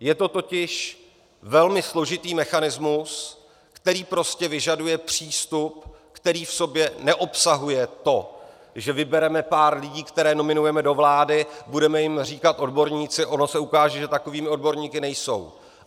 Je to totiž velmi složitý mechanismus, který prostě vyžaduje přístup, který v sobě neobsahuje to, že vybereme pár lidí, které nominujeme do vlády, budeme jim říkat odborníci, ono se ukáže, že takovými odborníky nejsou.